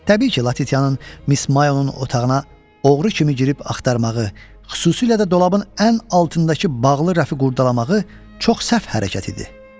Təbii ki, Latitiyanın Miss Mayonun otağına oğru kimi girib axtarmağı, xüsusilə də dolabın ən altındakı bağlı rəfi qurdalamağı çox səhv hərəkət idi.